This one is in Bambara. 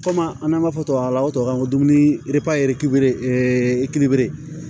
Kɔmi an n'an b'a fɔ tubabukan na o tubabukan dumuni